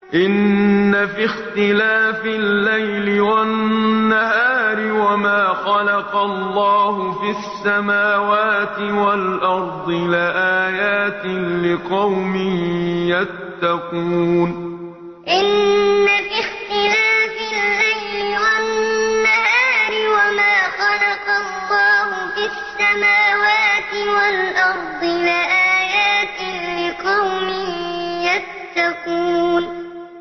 إِنَّ فِي اخْتِلَافِ اللَّيْلِ وَالنَّهَارِ وَمَا خَلَقَ اللَّهُ فِي السَّمَاوَاتِ وَالْأَرْضِ لَآيَاتٍ لِّقَوْمٍ يَتَّقُونَ إِنَّ فِي اخْتِلَافِ اللَّيْلِ وَالنَّهَارِ وَمَا خَلَقَ اللَّهُ فِي السَّمَاوَاتِ وَالْأَرْضِ لَآيَاتٍ لِّقَوْمٍ يَتَّقُونَ